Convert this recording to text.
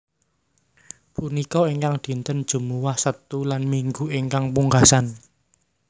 Punika ingkang dinten Jumuwah Setu lan Minggu ingkang pungkasan